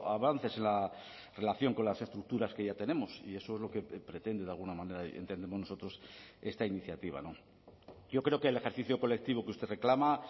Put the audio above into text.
avances en la relación con las estructuras que ya tenemos y eso es lo que pretende de alguna manera entendemos nosotros esta iniciativa yo creo que el ejercicio colectivo que usted reclama